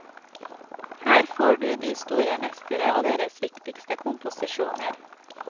Her får du de store mestere og deres viktigste komposisjoner.